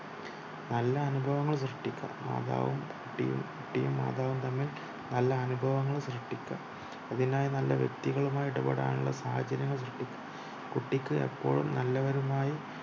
നല്ല അനുഭവങ്ങൾ സൃഷ്ടിക്കണം മാതവും കുട്ടിയും കുട്ടിയും മാതവും തമ്മിൽ നല്ല അനുഭവങ്ങൾ സൃഷ്ടിക്കണം അതിനായി നല്ല വ്യക്തികളുമായി ഇടപെടാനുള്ള സാഹചര്യം സൃഷ്ടിക്കണം കുട്ടിക്ക് ഇപ്പോഴും നല്ലവരുമായി